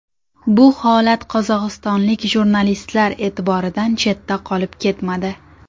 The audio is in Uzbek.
Bu holat qozog‘istonlik jurnalistlar e’tiboridan chetda qolib ketmadi.